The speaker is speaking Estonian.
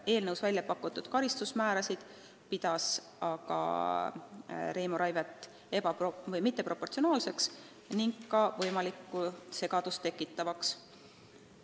Eelnõus välja pakutud karistusmäärasid pidas ka Reimo Raivet mitteproportsionaalseteks ning ka segadust tekitavateks.